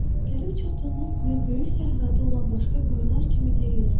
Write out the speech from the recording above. Gəlib çıxdığımız quyu böyük səhradə olan başqa quyular kimi deyildi.